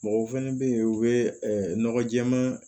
Mɔgɔw fɛnɛ be yen u be nɔgɔ jɛɛma